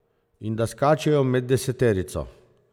In da skačejo med deseterico.